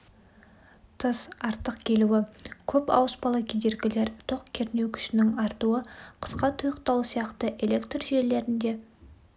тыс артық келуі көп ауыспалы кедергілер тоқ кернеу күшінің артуы қысқа тұйықталу сияқты электр желілерінде